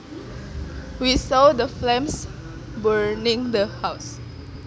We saw the flames burning the house